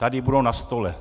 Tady budou na stole.